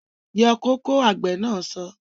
Yọ kóko! Àgbè na so